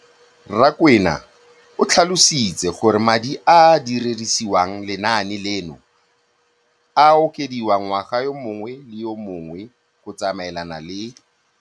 Rakwena o tlhalositse gore madi a a dirisediwang lenaane leno a okediwa ngwaga yo mongwe le yo mongwe go tsamaelana le.